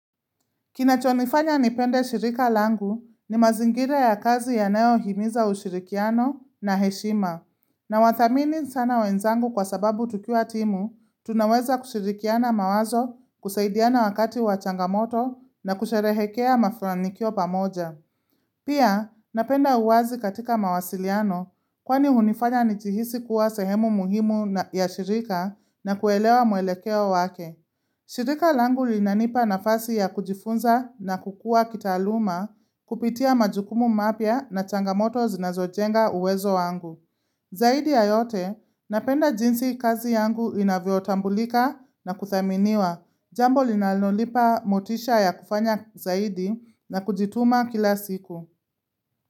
Kinachonifanya nipende shirika langu ni mazingira ya kazi yanayo himiza ushirikiano na heshima. Na wathamini sana wenzangu kwa sababu tukiwa timu, tunaweza kushirikiana mawazo, kusaidiana wakati wa changamoto na kusherehekea mafanikio pamoja. Pia, napenda uwazi katika mawasiliano kwani hunifanya nijihisi kuwa sehemu muhimu ya shirika na kuelewa mwelekeo wake. Shirika langu linanipa nafasi ya kujifunza na kukua kitaaluma kupitia majukumu mapya na changamoto zinazojenga uwezo wangu. Zaidi ya yote, napenda jinsi kazi yangu inavyotambulika na kuthaminiwa jambo linalolipa motisha ya kufanya zaidi na kujituma kila siku.